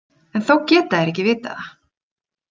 En þó geta þeir ekki vitað það.